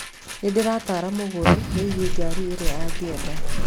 Nĩ ndĩrataara mũgũri wĩgiĩ ngari iria angĩenda.